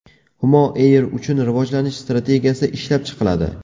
Humo Air uchun rivojlanish strategiyasi ishlab chiqiladi.